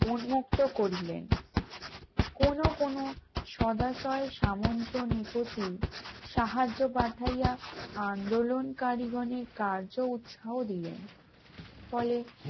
উন্মুক্ত করিলেন, কোন কোন সদাসয় সামন্ত নৃপতি সাহায্য পাঠাইয়া আন্দোলনকারী গণের কার্য উৎসাহ দিলেন ফলে